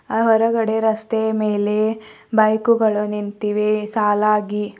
ಆ ಹೊರಗಡೆ ರಸ್ತೆ ಮೇಲೆ ಬೈಕುಗಳು ನಿಂತಿವೆ ಸಾಲಾಗಿ.